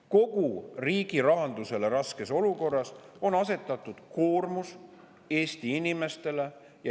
Kogu riigi rahanduse raskes olukorras on asetatud koormus Eesti inimestele.